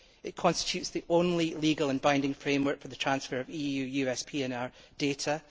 It constitutes the only legal and binding framework for the transfer of EU US PNR data.